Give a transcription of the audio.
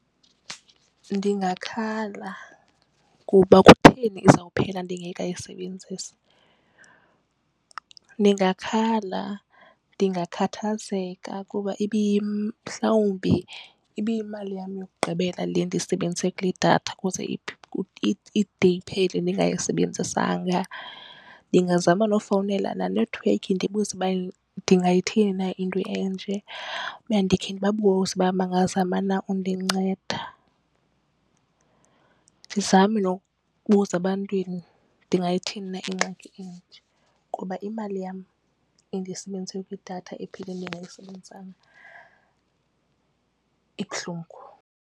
Ndingakhala kuba kutheni izawuphela ndingekayisebenzisi. Ndingakhala, ndingakhathazeka kuba mhlawumbi ibiyimalini yam yokugqibela le ndiyisebenzise kule datha ukuze ide iphele ndingayisebenzisanga. Ndingazama nokufowunela nenethiwekhi ndibuze uba ndingayithini na into enje ukuya ndikhe ndibabuze uba bangazama na undinceda. Ndizame nokubuza ebantwini ndingayithini na ingxaki enje ngoba imali yam endiyisebenzise kwidatha ephele ndingayisebenzisanga ibuhlungu.